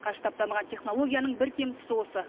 қарыштап дамыған технологияның бір кем тұсы осы